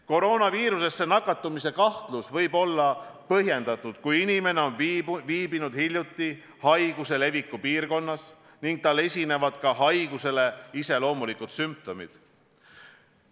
Koroonaviirusesse nakatumise kahtlus võib olla põhjendatud, kui inimene on viibinud hiljuti haiguse leviku piirkonnas ning tal esinevad ka haigusele iseloomulikud sümptomid.